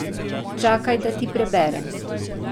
Čakaj, da ti preberem.